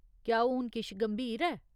क्या हून किश गंभीर ऐ ?